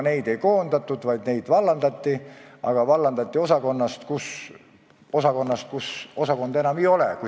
Neid ei koondatud, vaid nad vallandati, aga vallandati osakonnast, mida enam ei ole.